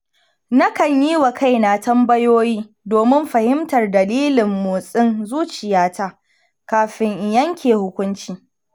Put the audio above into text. Nakan yi wa kaina tambayoyi domin fahimtar dalilin motsin zuciyata kafin in yanke hukunci.